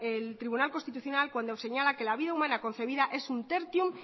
el tribunal constitucional cuando señala que la vida humana concebida es un tertium